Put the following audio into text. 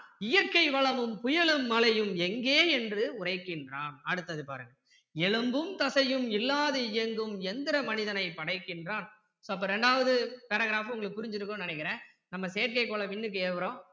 இயற்கை வளமும் புயலும் மழையும் எங்கே என்று உரைக்கின்றான் அடுத்தது பாருங்க எலும்பும் தசையும் இல்லாது இயங்கும் எந்திர மனிதனை படைக்கின்றான் அப்போ ரெண்டாவது paragraph உங்களுக்கு புரிஞ்சியிருக்கும்னு நினைக்கிறேன் நம்ம செயற்கை கோளை விண்ணுக்கு ஏவுறோம்